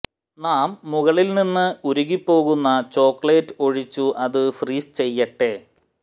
നാം മുകളിൽ നിന്ന് ഉരുകിപ്പോകുന്ന ചോക്ലേറ്റ് ഒഴിച്ചു അതു ഫ്രീസ് ചെയ്യട്ടെ